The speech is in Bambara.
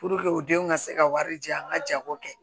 u denw ka se ka wari di yan an ka jago kɛ